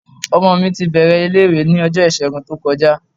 Ọmọ mi ti bẹ̀rẹ̀ ilé-ìwé ní ọjọ́ Ìṣẹ́gun tó kọjá.